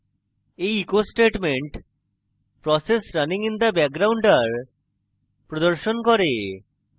এই echo statement process runing in background are প্রদর্শন করে